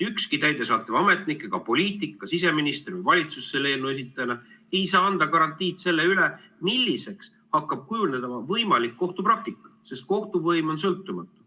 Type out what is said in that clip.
Ükski täidesaatev ametnik ega poliitik, sh siseminister või valitsus selle eelnõu esitajana ei saa anda garantiid sellele, milliseks hakkab kujunema võimalik kohtupraktika, sest kohtuvõim on sõltumatu.